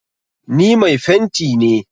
Ni mai fenti ne.